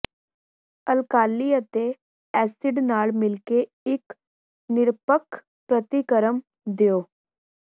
alkali ਅਤੇ acid ਨਾਲ ਮਿਲਕੇ ਇੱਕ ਨਿਰਪੱਖ ਪ੍ਰਤੀਕਰਮ ਦਿਉ